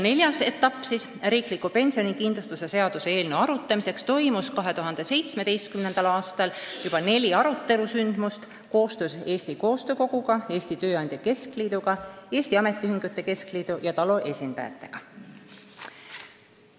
Neljas etapp riikliku pensionikindlustuse seaduse eelnõu arutamiseks langes 2017. aastasse, mil oli neli arutelule keskendatud sündmust koostöös Eesti Koostöö Koguga, Eesti Tööandjate Keskliiduga, Eesti Ametiühingute Keskliidu ja TALO esindajatega.